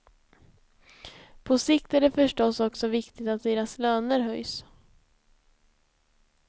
På sikt är det förstås också viktigt att deras löner höjs.